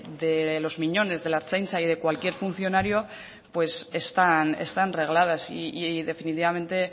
de los miñones de la ertzaintza y de cualquier funcionario están regladas y definitivamente